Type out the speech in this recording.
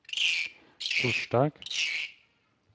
torsdag